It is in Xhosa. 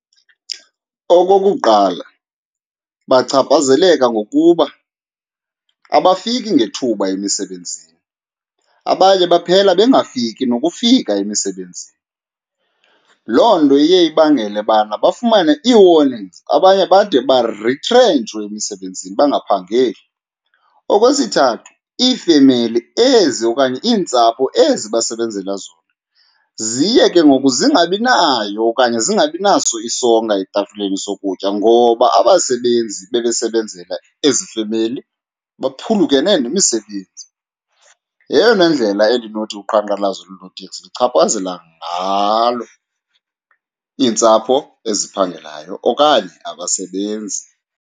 Okokuqala, bachaphazeleka ngokuba abafiki ngethuba emisebenzini abanye baphela bengafiki nokufika emisebenzini. Loo nto iye ibangele bana bafumane ii-warnings, abanye bade baritrentshwe emisebenzini bangaphangeli. Okwesithathu, iifemeli ezi okanye iintsapho ezi basebenzela zona ziye ke ngoku zingabi nayo okanye zingabi naso isonka etafileni sokutya ngoba abasebenzi bebesebenzela ezi femeli baphulukene nemisebenzi. Yeyona ndlela endinothi uqhankqalazo lonooteksi luchaphazela ngalo iintsapho eziphangelayo okanye abasebenzi.